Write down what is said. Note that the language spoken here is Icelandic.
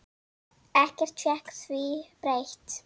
Ekkert fékk því breytt.